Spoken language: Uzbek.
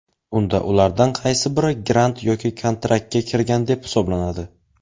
unda ulardan qaysi biri grant yoki kontraktga kirgan deb hisoblanadi?.